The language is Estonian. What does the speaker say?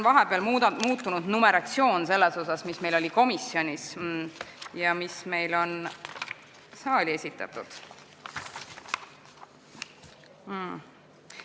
Vahepeal on muutunud numeratsioon dokumendis, mis meil oli komisjonis ja mis meil on nüüd saali esitatud.